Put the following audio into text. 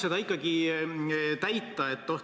Katsuks ikkagi seda tühimikku täita.